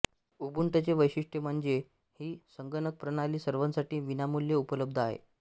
उबुंटूचे वैशिष्ट्य म्हणजे ही संगणकप्रणाली सर्वांसाठी विनामूल्य उपलब्ध आहे